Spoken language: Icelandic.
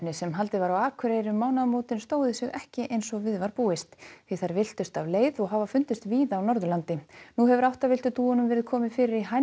sem haldið var á Akureyri um mánaðamótin stóðu sig ekki eins og við var búist því þær villtust af leið og hafa fundist víða á Norðurlandi nú hefur dúfunum verið komið fyrir í